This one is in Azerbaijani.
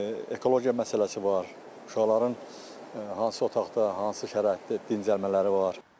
Ekologiya məsələsi var, uşaqların hansı otaqda, hansı şəraitdə dincəlmələri var.